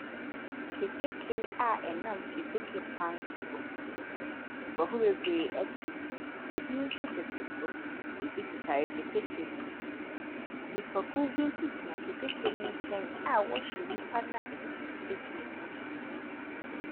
Keteke a ɛnam keteke kwan so. Nkurɔfo bebree te mu, bi nso tete so, bi tetare keteke ne ho. Nnipakuw bi nso gyina keteke ne nkyɛn a wɔrehwɛ wɔn a wɔtete keteke ne so.